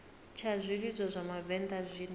tsha zwilidzo zwa vhavenḓa zwine